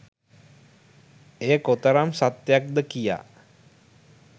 එය කොතරම් සත්‍යයක් ද කියා